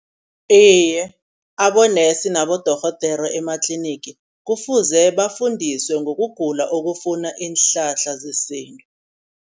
Iye abonesi nabodorhodere ematlinigi kufuze bafundisiwe ngokugula okufuna iinhlahla zesintu.